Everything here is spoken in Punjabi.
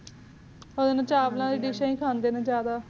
ਇ ਨੂ ਚਾਵਲਾ ਦੀ ਦਿਸ਼ਾ ਹੀਖੰਡੇ ਨੇ ਜਿਆਦਾ